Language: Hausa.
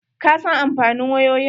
Ka san amfanin wayoyin?